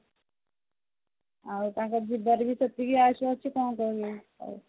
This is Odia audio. ଆଉ ତାଙ୍କର ଯିବାରେ ବି ସେତିକି ଆୟୁଷ ଅଛି କଣ କହିବୁ ଆଉ